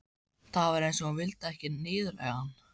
Það var eins og hún vildi ekki niðurlægja hann.